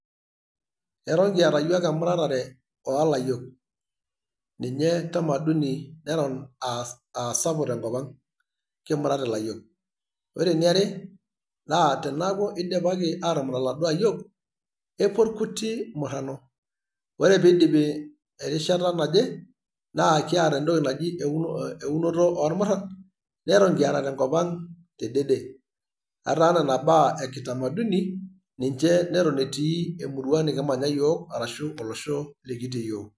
Eton kiata yiook emuratare oolayiok ,ninye tamaduni neton aa asapuk tenkop ang kimurat ilayiok . ore eniare naa tenaaku eidipaki aatumurat iladuoo ayiok epuo irkuti murano, ore piidipi erishata naje naa kiaata entoki naji eunoto oormuran neton kiata tenkop ang te dede, ataa nena baa ekitamaduni ninche neton etii emurrua nikimanya yiook arashu olosho likitii yiook.